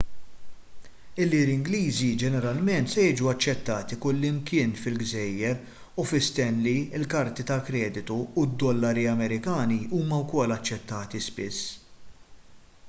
il-liri ingliżi ġeneralment se jiġu aċċettati kullimkien fil-gżejjer u fi stanley il-karti ta' kreditu u d-dollari amerikani huma wkoll aċċettati spiss